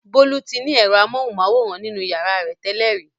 Bolu ti ní èrọ amóhùmáwòhán nínú ìyàrá rẹ̀ tẹ́lẹ̀ rí.